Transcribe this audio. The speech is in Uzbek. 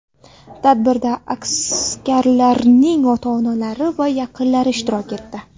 Tadbirda askarlarning ota-onalari va yaqinlari ishtirok etdi.